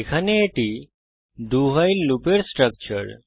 এখানে এটি do while লুপের স্ট্রাকচার